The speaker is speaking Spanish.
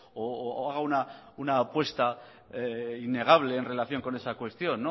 o haga una apuesta innegable en relación con esa cuestión